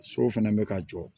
Sow fɛnɛ bɛ ka jɔ